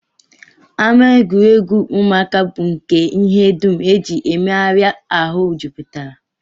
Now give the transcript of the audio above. Ama egwuregwu ụmụaka bụ nke ihe dum e ji emegharị ahụ jupụtara